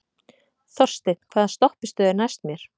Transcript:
Þorsteinn, hvaða stoppistöð er næst mér?